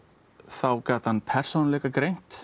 þá gat hann